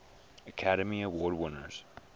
academy award winners